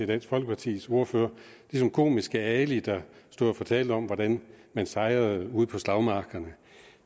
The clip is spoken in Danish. dansk folkepartis ordfører som komiske ali der stod og fortalte om hvordan man sejrede ude på slagmarkerne